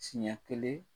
Siɲɛ kelen